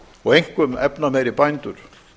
og einkum efnameiri bændur